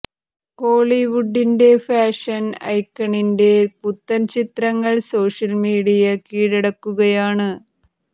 കോളിവുഡിൻ്റെ fashion ഐക്കണിൻ്റെ പുത്തൻ ചിത്രങ്ങൾ സോഷ്യൽ മീഡിയ കീഴടക്കുകയാണ്